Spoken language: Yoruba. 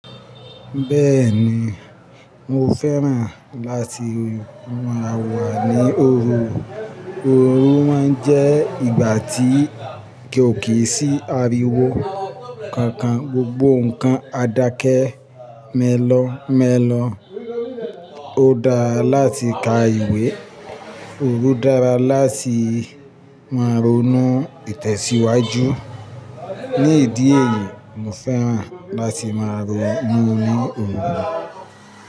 Bẹ́ẹ̀ni, mo fẹ́ràn láti máa wà ní òru, òru máa ń jẹ́ ìgbà tí ko ó kì í sí ariwo kankan, gbogbo nǹkan adakẹ́ mélọ̀ọ̀ mélọ̀ọ̀, ó dára láti ka ìwé, òru dára láti máa ronú ìtẹ̀síwájú. Ni ìdí èyí, mo fẹ́ràn láti máa ronú ní òru.